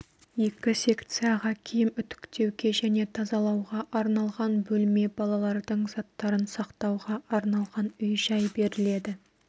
екі секцияға киім үтіктеуге және тазалауға арналған бөлме балалардың заттарын сақтауға арналған үй-жай беріледі